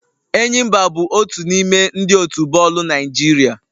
Enyimba bụ otu n'ime ndị otu bọọlụ Naịjirịa